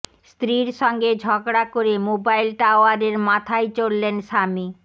স্ত্রীর সঙ্গে ঝগড়া করে মোবাইল টাওয়ারের মাথায় চড়লেন স্বামী